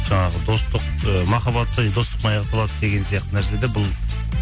жаңағы достық ы махаббат та достықпен аяқталады деген сияқты нәрселерде бұл